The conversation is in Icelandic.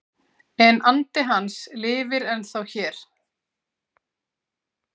En andi hans lifir ennþá hér